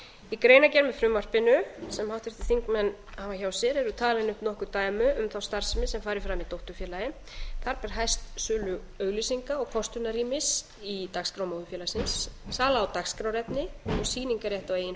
í greinargerð með frumvarpinu sem háttvirtir þingmenn hafa hjá sér eru talin upp nokkur dæmi um þá starfsemi sem fari fram í dótturfélagi þar ber hæst sölu auglýsinga og kostunarrýmis í dagskrá móðurfélagsins sala á dagskrárefni og sýningarrétti á eigin